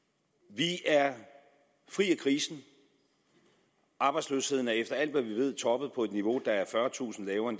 vi er fri af krisen arbejdsløsheden har efter alt hvad vi ved toppet på et niveau der er fyrretusind lavere